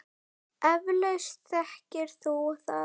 Eflaust þekkir þú það.